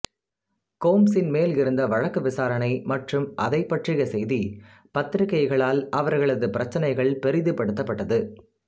கோம்ப்ஸின் மேல் இருந்த வழக்கு விசாரணை மற்றும் அதைப் பற்றிய செய்தி பத்திரிகைகளால் அவர்களது பிரச்சனைகள் பெரிதுபடுத்தப்பட்டது